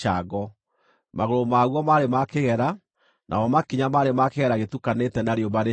magũrũ maguo maarĩ ma kĩgera, namo makinya maarĩ ma kĩgera gĩtukanĩte na rĩũmba rĩcine.